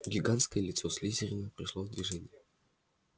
гигантское лицо слизерина пришло в движение